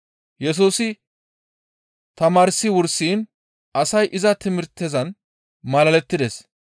Yesusi tamaarsi wursiin asay iza timirtezan malalettides.